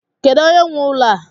Kedu onye nwe ụlọ a?